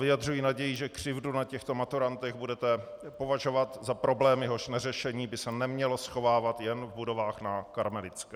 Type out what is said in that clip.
Vyjadřuji naději, že křivdu na těchto maturantech budete považovat za problém, jehož neřešení by se nemělo schovávat jen v budovách na Karmelitské.